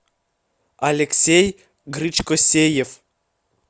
алексей гречкосеев